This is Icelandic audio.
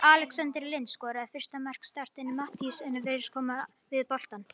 Alexander Lind skoraði fyrsta mark Start en Matthías virtist koma við boltann.